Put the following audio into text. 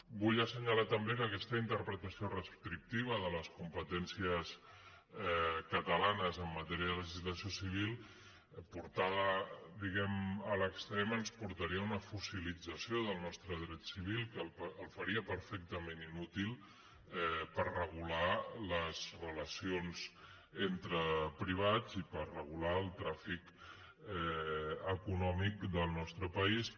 vull assenyalar també que aquesta interpretació restrictiva de les competències catalanes en matèria de legislació civil portada diguem ne a l’extrem ens portaria a una fossilització del nostre dret civil que el faria perfectament inútil per regular les relacions entre privats i per regular el tràfic econòmic del nostre país